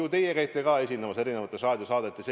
Ju teie käite ka esinemas erinevates raadiosaadetes.